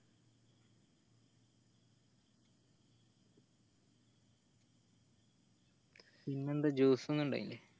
ഇന്നെന്താ juice ന്നും ഇണ്ടായില്ല